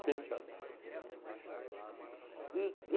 Vinte anos. Vinte anos. E